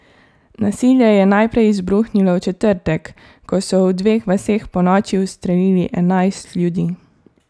Nasilje je najprej izbruhnilo v četrtek, ko so v dveh vaseh ponoči ustrelili enajst ljudi.